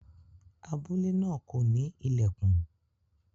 Abule naa ko ni ilẹkùn.